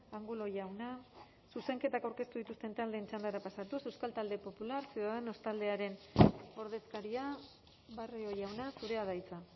angulo jauna zuzenketak aurkeztu dituzten taldeen txandara pasatuz euskal talde popular ciudadanos taldearen ordezkaria barrio jauna zurea da hitza